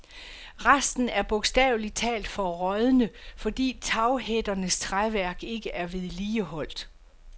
Resten er bogstavelig talt for rådne, fordi taghætternes træværk ikke er vedligeholdt.